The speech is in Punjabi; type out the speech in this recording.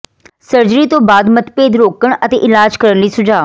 ਸਰਜਰੀ ਤੋਂ ਬਾਅਦ ਮਤਭੇਦ ਰੋਕਣ ਅਤੇ ਇਲਾਜ ਕਰਨ ਲਈ ਸੁਝਾਅ